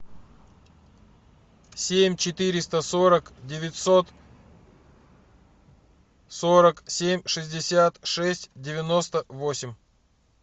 семь четыреста сорок девятьсот сорок семь шестьдесят шесть девяносто восемь